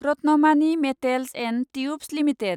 Ratnamani Metals and Tubes limited